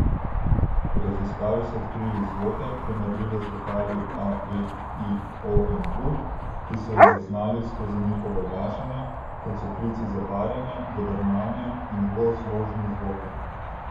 V raziskavi so odkrili zvoke, primerljive z vokali a, e, i, o in u, ki so jih zaznali skozi njihovo oglašanje, kot so klici za parjenje, godrnjanje in dvozložni zvoki.